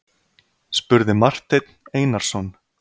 spurði Marteinn Einarsson.